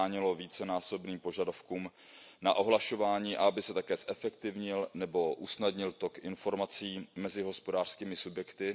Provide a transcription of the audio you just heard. zabránilo vícenásobným požadavkům na ohlašování a aby se také zefektivnil nebo usnadnil tok informací mezi hospodářskými subjekty.